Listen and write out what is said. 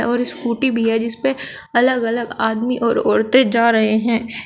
और स्कूटी भी है जिसपे अलग अलग आदमी और औरतें जा रहे हैं।